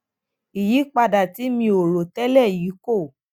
ìyípadà tí mi ò rò télè yìí kó